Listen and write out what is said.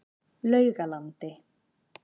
Laugalandi